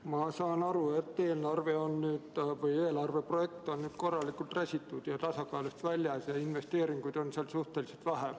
Ma saan aru, et eelarve projekt on korralikult räsitud ja tasakaalust väljas ning investeeringuid on seal suhteliselt vähe.